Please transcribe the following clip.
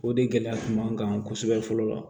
O de gɛlɛya kun b'an kan kosɛbɛ fɔlɔ wa